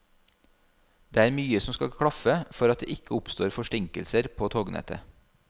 Det er mye som skal klaffe for at det ikke oppstår forsinkelser på tognettet.